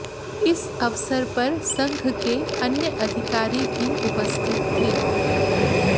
इस अवसर पर संघ के अन्य अधिकारी भी उपस्थित थे